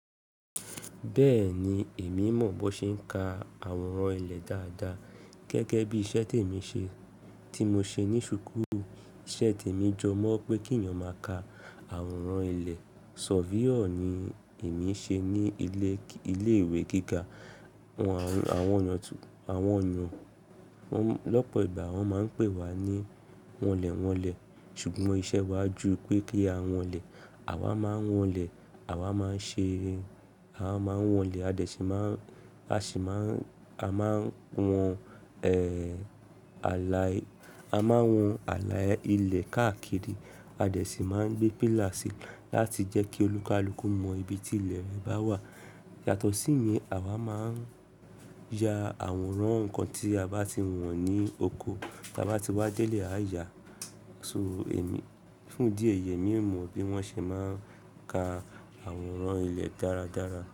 Bẹ́ẹ̀ni, èmi mọ̀ bó ṣe ń ka àwòrán ilé dáadáa gẹ́gẹ́ bí iṣẹ́ tèmi ṣe tí mo ṣe ní ṣúukulu Ìṣe tèmi jọ mọ̀ pé kí ẹ̀yin máa ka àwòrán ilé, surveyor ni èmi ṣe ní ilé ìwé gíga. Àwọn yàn lọ́pọ̀ ìgbà wọ́n máa ń pè wá ní wọ́n lè wọ́n lè, ṣùgbọ́n iṣẹ́ wa ju pé kí a wọ́n lè. Àwa máa ń wọ́n lè, àwa máa ń ṣe, àwa máa ń wọ́n lè, a sì máa ń, a máa ń wọn, a máa wọn ààlà ilé káàkiri. A dẹ̀ sì máa ń gbé pílà sì láti jẹ́ kí olúkalúkú mọ ibi tí ilẹ̀ re bá wà. Yàtọ̀ sí ye, àwa máa ń ya àwòrán nǹkan tí a bá ti wọ̀n ní oko, tí a bá ti wá délé àyà. Emi, fún dí eyi emí mọ̀ bí wọ́n ṣe máa ń ka àwòrán ilé dáradára.